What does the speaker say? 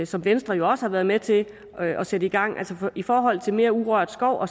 som venstre jo også har været med til at sætte i gang og i forhold til mere urørt skov